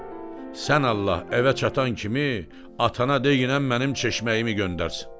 Mehdi, sən Allah, evə çatan kimi atana deginən mənim çeşməyimi göndərsin.